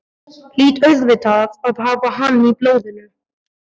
Hlýt auðvitað að hafa hann í blóðinu.